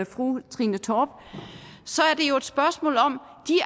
fru trine torp er spørgsmålet om